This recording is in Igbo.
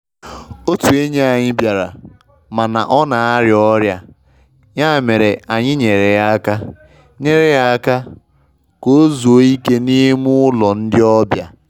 Otụ enyi anyị bịara, mana ọ na-arịa ọrịa, ya mere anyị nyere ya aka nyere ya aka ka ozuo ike n'ime ụlọ ndi obia.